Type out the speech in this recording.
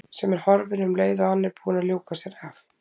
Sem er horfin um leið og hann er búinn að ljúka sér af.